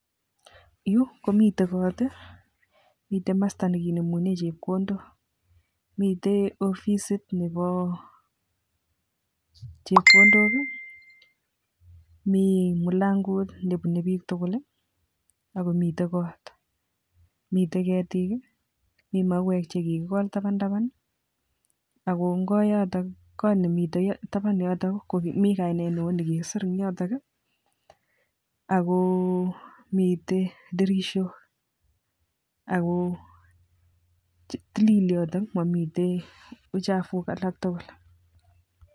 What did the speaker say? Yuu komiten koot, miten komosto nekinemunen chepkondok, miten ofisit nebo chepkondok, mii mulango nebune biik tukul ak komiten koot, miten ketik, mii mauwek chekikikol taban taban ak ko ng'o yotok koot nemiten taban yoto komii kainet neoo nekikisir en yotok AK ko miten tirishok ak ko tilil yotok momii uchavu alak tukul.